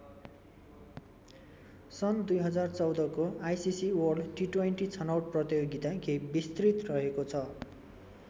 सन् २०१४ को ICC world T twenty छनौट प्रतियोगिता केही विस्तृत रहेको छ।